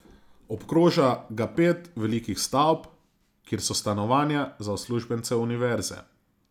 Obkroža ga pet velikih stavb, kjer so stanovanja za uslužbence univerze.